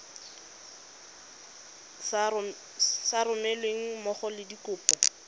sa romelweng mmogo le dikopo